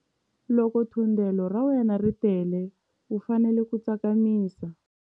Loko thundelo ra wena ri tele u fanele ku tsakamisa.